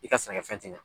I ka sɛnɛkɛfɛn ti ɲɛ